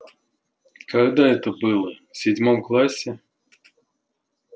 когда это было в седьмом классе